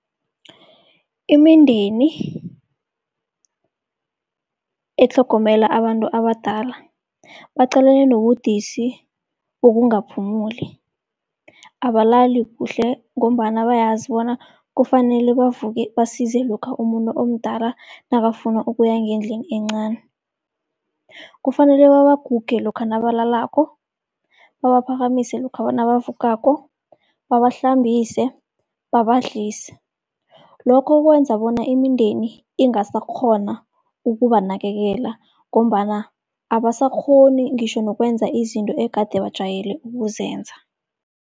Imindeni etlhogomela abantu abadala baqalene nobudisi bokungaphumuli. Abalali kuhle, ngombana bayazi bona kufanele bavuke basize lokha umuntu omdala nakafuna ukuya ngendlini encani. Kufanele babaguge lokha nabalalako, babaphakamise lokha nabavukako, babahlambise, babadlise. Lokho kwenza bona imindeni ingasakghona ukubanakekela, ngombana abasakghoni ngitjho nokwenza izinto egade bajwayele ukuzenza.